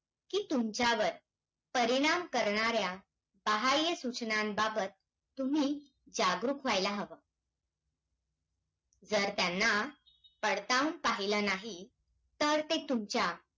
कि तुमच्यावर परिणाम करणाऱ्या बहाय्य सूचनांबाबत तुम्ही जागरूक राहायला हवं. जर, त्यांना पडताळून पाहिलं नाही. तर, ते तुमच्या,